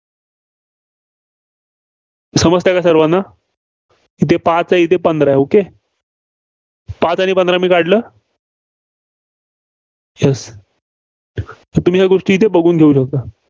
समजतंय का सर्वांना? इथं पाच आहे इथं पंधरा आहे okay पाच आणि पंधरा मी काढलं. तर तुम्ही या गोष्टी इथं बघू शकता.